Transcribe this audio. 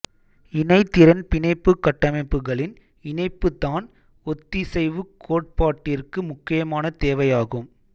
இணைதிறன் பிணைப்புக் கட்டமைப்புகளின் இணைப்புதான் ஒத்திசைவுக் கோட்பாட்டிற்கு முக்கியமான தேவையாகும்